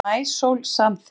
Nafnið Maísól samþykkt